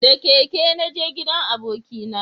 Da keke na naje gidan abokina